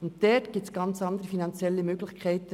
Dort gibt es ganz andere finanzielle Möglichkeiten.